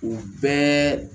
U bɛɛ